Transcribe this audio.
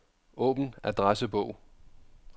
Åbn adressebog.